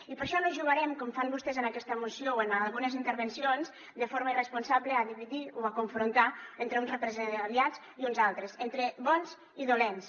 i per això no jugarem com fan vostès en aquesta moció o en algunes intervencions de forma irresponsable a dividir o a confrontar entre uns represaliats i uns altres entre bons i dolents